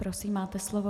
Prosím, máte slovo.